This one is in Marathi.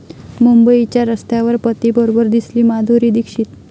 मुंबईच्या रस्त्यावर पतीबरोबर दिसली माधुरी दीक्षित